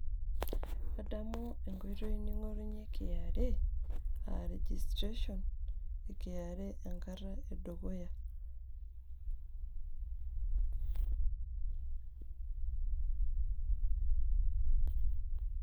kadamu enkoitoi ning'orunye KRA aa registration enkata e dukuya.